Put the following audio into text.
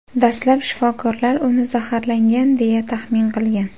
Dastlab shifokorlar uni zaharlangan, deya taxmin qilgan.